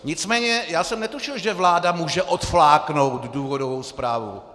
Nicméně já jsem netušil, že vláda může odfláknout důvodovou zprávu.